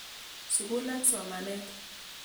Sukul ak somanet.